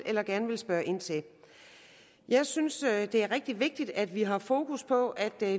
eller gerne vil spørge ind til jeg synes det er rigtig vigtigt at vi har fokus på at der